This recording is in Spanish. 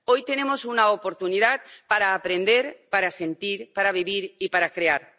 Hoy tenemos una oportunidad para aprender, para sentir, para vivir y para crear.